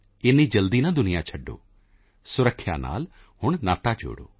ਇੰਨੀ ਜਲਦੀ ਨਾ ਦੁਨੀਆਂ ਛੱਡੋ ਸੁਰੱਖਿਆ ਨਾਲ ਨਾਤਾ ਜੋੜੋ